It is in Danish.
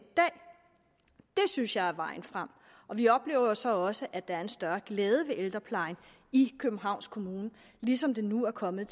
synes jeg er vejen frem vi oplever jo så også at der er en større glæde ved ældreplejen i københavns kommune ligesom der nu er kommet